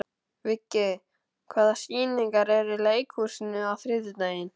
Viggi, hvaða sýningar eru í leikhúsinu á þriðjudaginn?